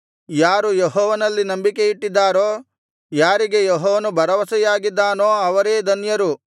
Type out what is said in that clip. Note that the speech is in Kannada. ಯಾರು ಯೆಹೋವನಲ್ಲಿ ನಂಬಿಕೆಯಿಟ್ಟಿದ್ದಾರೋ ಯಾರಿಗೆ ಯೆಹೋವನು ಭರವಸೆಯಾಗಿದ್ದಾನೋ ಅವರೇ ಧನ್ಯರು